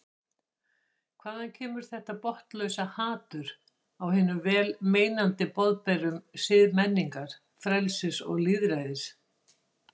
Hvaðan kemur þetta botnlausa hatur á hinum vel meinandi boðberum siðmenningar, frelsis og lýðræðis?